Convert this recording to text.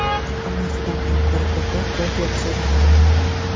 Hammasidan ham ko‘ra ko‘proq qo‘l terisi zararlanadi.